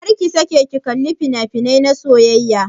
Karka sake kallon fina-finai na soyayya.